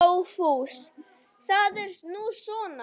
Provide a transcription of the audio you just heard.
SOPHUS: Það er nú svona.